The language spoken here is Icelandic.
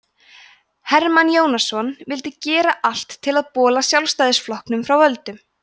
hermann jónasson vildi gera allt til að bola sjálfstæðisflokknum frá völdum